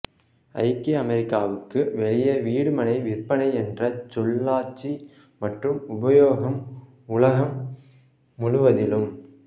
ஐக்கிய அமெரிக்காவுக்கு வெளியே வீடு மனை விற்பனை என்ற சொல்லாட்சி மற்றும் உபயோகம் உலகம் முழுவதிலும்